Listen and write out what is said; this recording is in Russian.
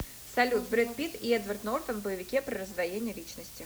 салют брэд пит и эдвард нортан в боевике про раздвоение личности